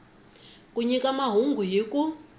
ku nyika mahungu hi ku